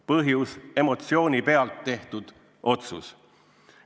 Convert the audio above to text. Põhjus: emotsiooni pealt tehtud otsus.